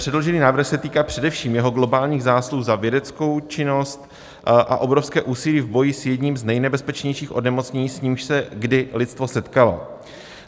Předložený návrh se týká především jeho globálních zásluh za vědeckou činnost a obrovské úsilí v boji s jedním z nejnebezpečnějších onemocnění, s nímž se kdy lidstvo setkalo.